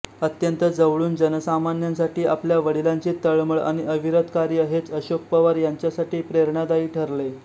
अत्यंत जवळून जनसामान्यांसाठी आपल्या वडिलांची तळमळ आणि अविरत कार्य हेच अशोक पवार यांच्यासाठी प्रेरणादायी ठरले